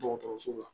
Dɔgɔtɔrɔso la